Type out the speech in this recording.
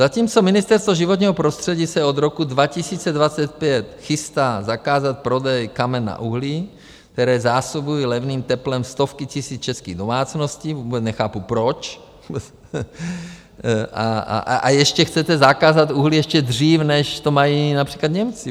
Zatímco Ministerstvo životního prostředí se od roku 2025 chystá zakázat prodej kamen na uhlí, která zásobují levným teplem stovky tisíc českých domácností - vůbec nechápu proč, a ještě chcete zakázat uhlí ještě dřív, než to mají například Němci.